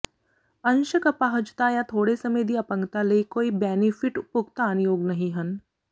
ਅੰਸ਼ਕ ਅਪਾਹਜਤਾ ਜਾਂ ਥੋੜੇ ਸਮੇਂ ਦੀ ਅਪੰਗਤਾ ਲਈ ਕੋਈ ਬੈਨੀਫਿਟ ਭੁਗਤਾਨਯੋਗ ਨਹੀਂ ਹਨ